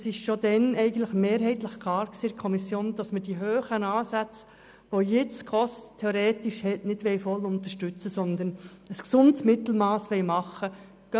Bereits in der Kommission war mehrheitlich klar, dass man die hohen Ansätze, welche die SKOS jetzt theoretisch hat, nicht voll unterstützen, sondern ein gesundes Mittelmass festlegen will.